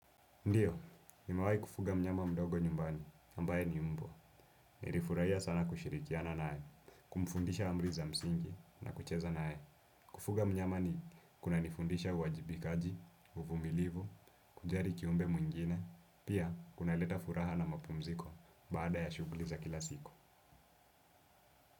Ndiyo, nimawai kufuga mnyama mdogo nyumbani, ambaye ni mbwa. Nirifuraia sana kushirikiana nae, kumfundisha amri za msingi na kucheza nae. Kufuga mnyama ni kuna nifundisha uwajibikaji, uvumilivu, kujali kiumbe mwingine, pia kunaleta furaha na mapumziko baada ya shuguli za kila siku.